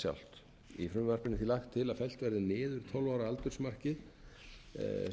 sjálft í frumvarpinu er því lagt til að fellt verði niður tólf ára aldursmarkið